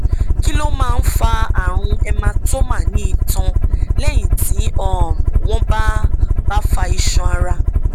kí ló máa ń fa àrùn hematoma ní itan lẹyìn tí um wọn bá bá fa iṣan ara